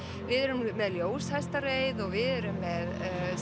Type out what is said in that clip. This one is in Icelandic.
við erum með ljóshestareið og við erum með